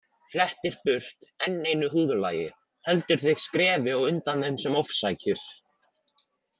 Flettir burt enn einu húðlagi, heldur þig skrefi á undan þeim sem ofsækir.